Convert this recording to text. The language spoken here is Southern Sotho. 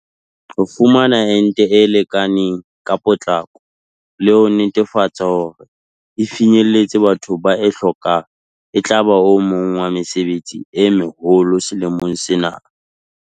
Ho fumana ente e lekaneng ka potlako le ho netefatsa hore e finyella bathong ba e hlokang etlaba o mong wa mesebetsi e meholo selemong sena.